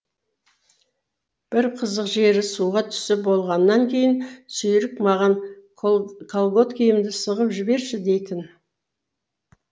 бір қызық жері суға түсіп болғаннан кейін сүйрік маған калготкімді сығысып жіберші дейтін